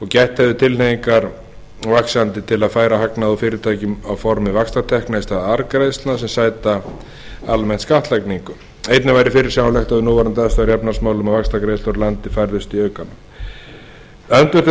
gætt hefði vaxandi tilhneigingar til að færa hagnað úr fyrirtækjum á formi vaxtatekna í stað arðgreiðslna sem almennt sæta skattlagningu einnig væri fyrirsjáanlegt við núverandi aðstæður í efnahagsmálum að vaxtagreiðslur úr landi færðust í aukana öndvert við það sem